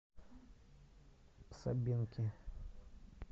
собинки